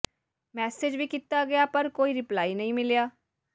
message ਵੀ ਕੀਤਾ ਗਿਆ ਪਰ ਕੋਈ ਰਿਪਲਾਈ ਨਹੀਂ ਮਿਲਿਆ